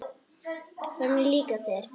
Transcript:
Hvernig líkar þér?